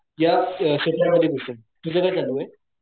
या क्षेत्रा मध्ये घुसेन तुझं काय चालूये.